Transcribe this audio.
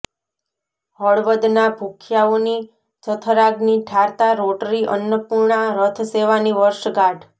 હળવદના ભૂખ્યાઓની જઠરાગ્ની ઠારતા રોટરી અન્નપુર્ણા રથ સેવાની વર્ષગાઠ